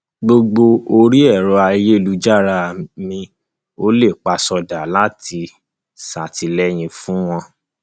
gbogbo orí ẹrọ ayélujára mi olèpasódà la ti ń ṣàtìlẹyìn fún wọn